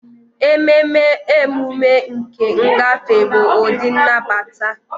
Ememe emume nke ngafe bụ ụdị nnabata.